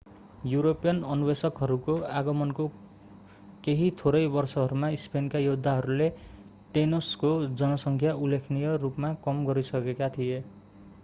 European अन्वेषकहरूको आगमनको केही थोरै वर्षहरूमा स्पेनका योद्धाहरूले टेनोसको जनसङ्ख्या उल्लेखनीय रूपमा कम गरिसकेका थिए